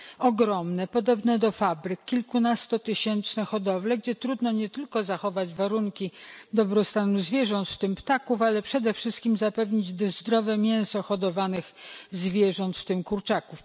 ogromne, podobne do fabryk, kilkunastotysięczne hodowle, gdzie trudno nie tylko zachować warunki dobrostanu zwierząt, w tym ptaków, ale przede wszystkim zapewnić zdrowe mięso hodowanych zwierząt, w tym kurczaków.